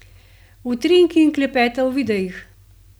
Utrinki in klepeta v videih!